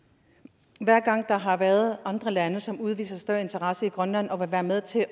jeg gang der har været andre lande som har udvist større interesse i grønland og vil være med til